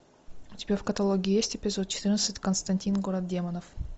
у тебя в каталоге есть эпизод четырнадцать константин город демонов